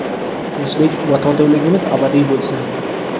tinchlik va totuvligimiz abadiy bo‘lsin!.